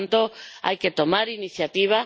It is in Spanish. Por tanto, hay que tomar iniciativas.